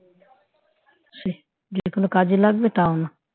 সেই যে কোন কাজে লাগবে তাও না